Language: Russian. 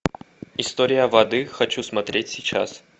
история воды хочу смотреть сейчас